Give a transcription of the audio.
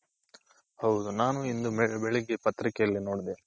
ಹೌದು ನಾನು ಇಂದು ಬೆಳಿಗ್ಗೆ ಪತ್ರಿಕೆಲ್ಲಿ ನೋಡ್ದೆ.